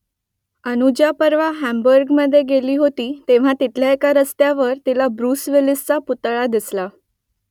अनुजा परवा हांबुर्गमध्ये गेली होती तेव्हा तिथल्या एका रस्त्यावर तिला ब्रुस विलिसचा पुतळा दिसला